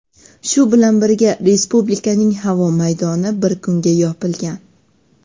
Shu bilan birga, respublikaning havo maydoni bir kunga yopilgan.